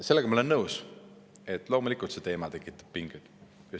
Sellega ma olen nõus, et loomulikult tekitab see teema pingeid.